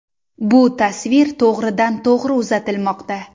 Bu tasvir to‘g‘ridan to‘g‘ri uzatilmoqda.